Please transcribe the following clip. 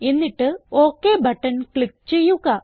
എന്നിട്ട് ok button click ചെയ്യുക